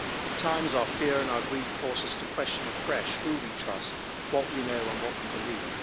At times, our fear and our grief force us to question afresh who we trust, what we know and what we believe.